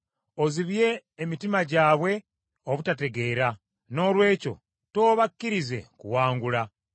Ozibye emitima gyabwe obutategeera; noolwekyo toobakkirize kuwangula.